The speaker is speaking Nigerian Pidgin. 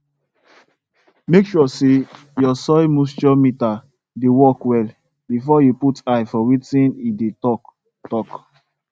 make sure say your soil moisture meter dey work well before you put eye for wetin e dey talk talk